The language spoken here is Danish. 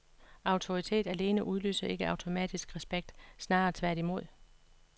Autoritet alene udløser ikke automatisk respekt, snarere tværtimod.